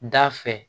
Da fɛ